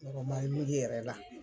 yɛrɛ la.